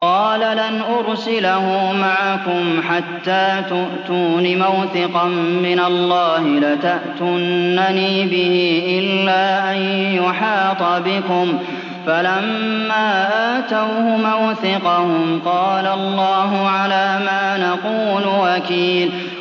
قَالَ لَنْ أُرْسِلَهُ مَعَكُمْ حَتَّىٰ تُؤْتُونِ مَوْثِقًا مِّنَ اللَّهِ لَتَأْتُنَّنِي بِهِ إِلَّا أَن يُحَاطَ بِكُمْ ۖ فَلَمَّا آتَوْهُ مَوْثِقَهُمْ قَالَ اللَّهُ عَلَىٰ مَا نَقُولُ وَكِيلٌ